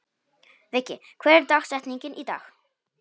Viggi, hver er dagsetningin í dag?